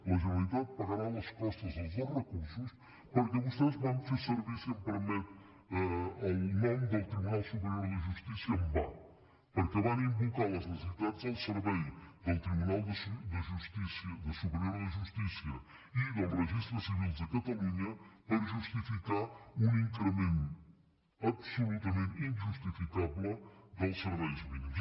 la generalitat pagarà les costes dels dos recursos perquè vostès van fer servir si m’ho permet el nom del tribunal superior de justícia en va perquè van invocar les necessitats del servei del tribunal superior de justícia i dels registres civils de catalunya per justificar un increment absolutament injustificable dels serveis mínims